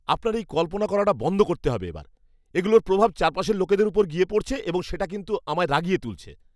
আপনার এই কল্পনা করাটা বন্ধ করতে হবে এবার। এগুলোর প্রভাব চারপাশের লোকদের ওপর গিয়ে পড়ছে এবং সেটা কিন্তু আমায় রাগিয়ে তুলেছে।